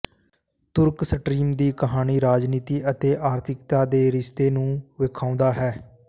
ਤੁਰਕ stream ਦੀ ਕਹਾਣੀ ਰਾਜਨੀਤੀ ਅਤੇ ਆਰਥਿਕਤਾ ਦੇ ਰਿਸ਼ਤੇ ਨੂੰ ਵੇਖਾਉਦਾ ਹੈ